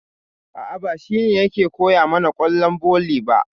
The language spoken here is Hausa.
A'a, ba shi ne ke koya mana ƙwallon volley ba.